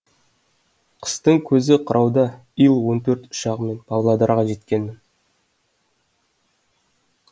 қыстың көзі қырауда ил он төрт ұшағымен павлодарға жеткенмін